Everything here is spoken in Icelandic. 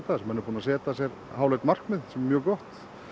þessu menn eru búnir að setja sér háleit markmið sem er mjög gott